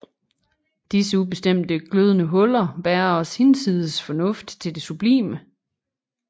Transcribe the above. Disse ubestemte glødende huller bærer os hinsides fornuft til det sublime